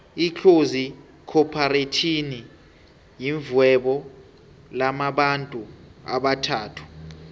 itlozi khopharetjhini yirhvuebo lamabantu abathathu